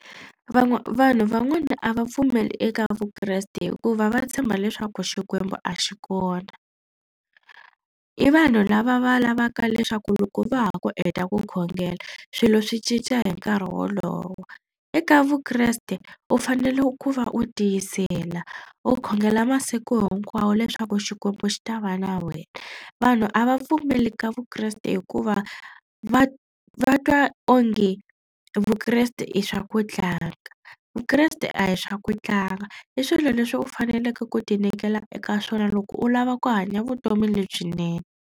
vanhu van'wana a va pfumeli eka vukreste hikuva va tshemba leswaku xikwembu a xi kona. I vanhu lava va lavaka leswaku loko va ha ku heta ku khongela swilo swi cinca hi nkarhi wolowo. Eka vukreste u fanele ku va u tiyisela u khongela masiku hinkwawo leswaku xikwembu xi ta va na wena. Vanhu a va pfumeli ka vukreste hikuva va va twa onge vukreste i swa ku tlanga. Vukreste a hi swa ku tlanga i swilo leswi u faneleke ku tinyikela eka swona loko u lava ku hanya vutomi lebyinene.